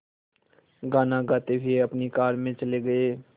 गाना गाते हुए अपनी कार में चले गए